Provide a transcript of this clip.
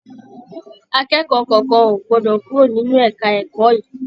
Akẹ́kọ̀ọ́ kankan o gbọdọ kúrò nínú ẹka ẹ̀kọ́ yìí!